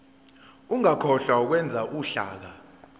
ungakhohlwa ukwenza uhlaka